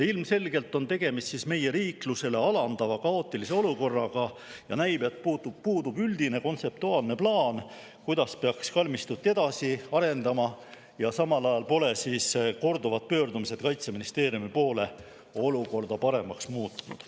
Ilmselgelt on tegemist meie riiklusele alandava kaootilise olukorraga ja näib, et puudub üldine kontseptuaalne plaan, kuidas peaks kalmistut edasi arendama, ja samal ajal pole korduvad pöördumised Kaitseministeeriumi poole olukorda paremaks muutnud.